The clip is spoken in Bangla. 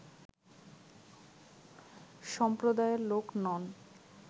সম্প্রদায়ের লোক নন